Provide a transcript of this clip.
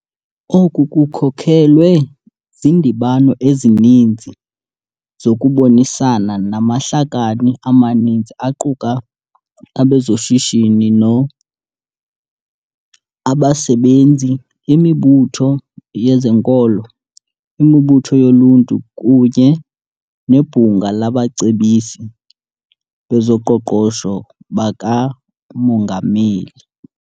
Oku kukhokelwe zindibano ezininzi zokubonisana namahlakani amaninzi aquka abezoshishi no, abasebenzi, imibutho yezenkolo, imibutho yoluntu kunye neBhunga labaCebisi bezoQoqosho bakaMongameli.